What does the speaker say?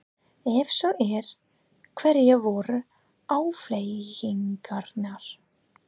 Ef svo er, hverjar voru afleiðingarnar?